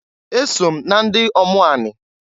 Eso m na ndiomu ani.